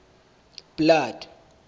blood